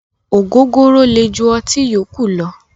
Ògógóró le ju ọtí yókù lọ.